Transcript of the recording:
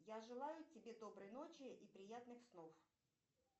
я желаю тебе доброй ночи и приятных снов